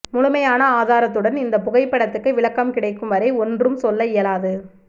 முழுமையான ஆதாரத்துடன் இந்த புகைப்படத்துக்கு விளக்கம் கிடைக்கும் வரை ஒன்றும் சொல்ல இயலாது